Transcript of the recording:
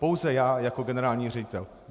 Pouze já jako generální ředitel.